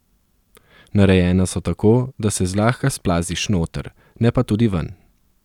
Narejena so tako, da se zlahka splaziš noter, ne pa tudi ven.